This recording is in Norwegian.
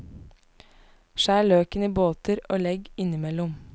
Skjær løken i båter og legg innimellom.